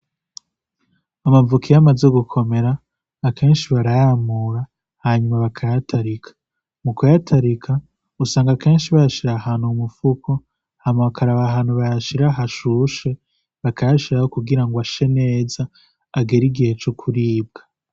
Amavoka iyo amaze gukomera akenshi barayamura, hanyuma bakayatarika. Mu kuyatarika, usanga akenshi bayashira ahantu mu mufuko, hama bakaraba ahantu bayashira hashushe, bakayashiraho kugirango ashe neza, agere igihe co kuribwa.